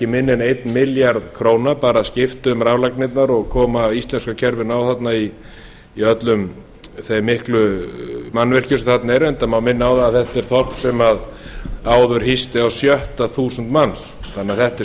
minna en einn milljarð króna bara að skipta um raflagnirnar og koma íslenska kerfinu á þarna í öllum þeim miklu mannvirkjum sem þarna eru reyndar má minna á að þetta er þorp sem áður hýsti á sjötta þúsund manns þannig að þetta er